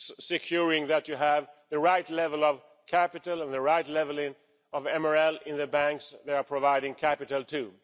securing that you have the right level of capital and the right level of MREL in the banks they are providing capital to.